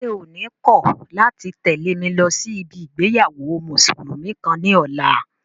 Ṣé o ní kọ̀ láti tẹ̀lé mi lọ sí ibi ìgbéyàwó mùsùlùmí kan ní ọ̀la?